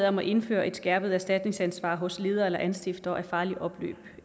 om at indføre et skærpet erstatningsansvar hos ledere eller anstiftere af farligt opløb